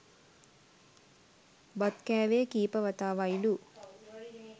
බත් කෑවෙ කීප වතාවයිලු